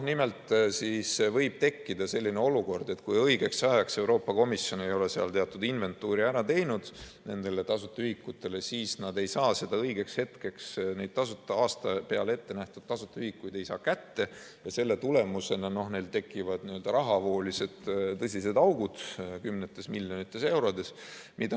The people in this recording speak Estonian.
Nimelt võib tekkida selline olukord, et kui õigeks ajaks Euroopa Komisjon ei ole teatud inventuuri ära teinud nendele tasuta ühikutele, siis nad ei saa õigeks hetkeks neid aasta peale ette nähtud tasuta ühikuid kätte ja selle tulemusena neil tekivad rahavooliselt tõsised augud, kümnetes miljonites eurodes.